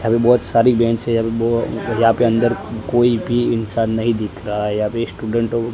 यहां पे बहुत सारी बेंच है यहां पे बहुत यहां पे अंदर कोई भी इंसान नहीं दिख रहा है यहां पे स्टूडेंट औ--